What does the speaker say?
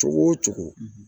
Cogo o cogo